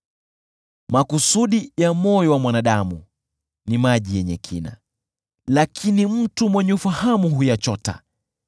Makusudi ya moyo wa mwanadamu ni maji yenye kina, lakini mtu mwenye ufahamu huyachota.